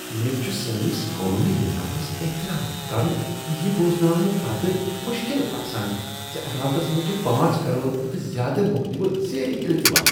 مےٚ چھُ سٲنِس قونوٗنی نظامس احترام کرُن یہِ بوزناونہٕ پتہٕ مُشکل باسان زِ عدالتس منٛز چھ پانژھ کرور کھۄتہٕ زیٛادٕ مقدمہٕ زیر التوا۔